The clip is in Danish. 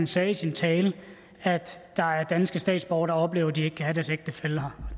sagde i sin tale at der er danske statsborgere der oplever at de ikke kan have deres ægtefælle her